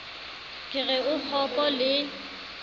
ke re o kgopo le